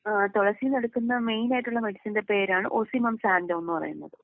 ആഹ് തുളസീന്ന് എടുക്കുന്ന മെയിൻ ആയിട്ടുള്ള മെഡിസിന്റെ പേരാണ് ഓസിമം സാന്റോ എന്ന് പറയുന്നത്.